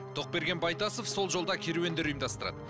тоқберген байтасов сол жолда керуендер ұйымдастырады